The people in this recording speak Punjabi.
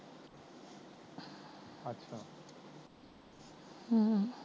ਹਮ